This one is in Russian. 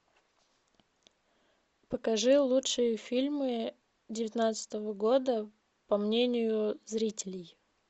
покажи лучшие фильмы девятнадцатого года по мнению зрителей